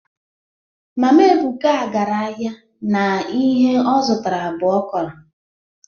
mama ebuka gara ahia na ihe o zutara bu okro